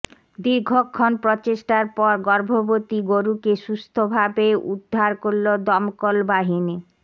দীর্ঘক্ষণ প্রচেষ্টার পর গর্ভবতী গরুকে সুস্থভাবে উদ্ধার করল দমকল বাহিনী